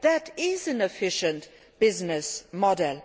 That is an efficient business model.